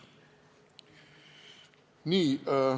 Nii.